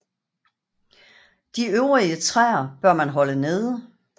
De øvrige træer bør man holde nede